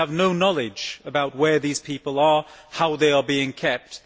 We have no knowledge about where these people are or how they are being kept.